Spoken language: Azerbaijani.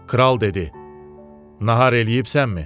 Kral dedi: Nahar eləyibsənmi?